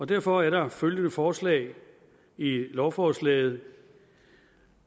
derfor er der følgende forslag i lovforslaget